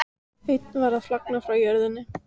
Einn var að flagna frá jörðinni.